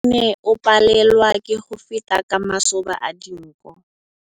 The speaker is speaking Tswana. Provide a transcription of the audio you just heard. Mowa o ne o palelwa ke go feta ka masoba a dinko.